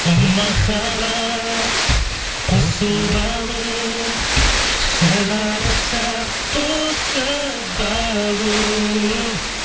о махаббат қосу алу шығарып салып тосып алу